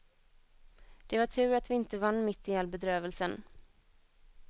Det var tur att vi inte vann mitt i all bedrövelsen.